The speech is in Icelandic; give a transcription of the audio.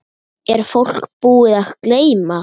Er fólk búið að gleyma?